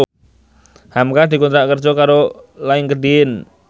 hamka dikontrak kerja karo Linkedin